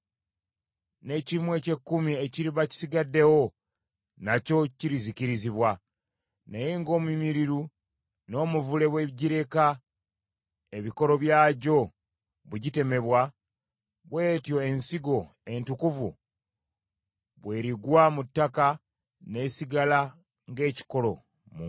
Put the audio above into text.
N’ekimu eky’ekkumi ekiriba kisigaddewo, nakyo kirizikirizibwa. Naye ng’omumyuliru n’omuvule bwe gireka ebikolo byagyo bwe gitemebwa, bw’etyo ensigo entukuvu bw’erigwa mu ttaka n’esigala ng’ekikolo mu nsi.”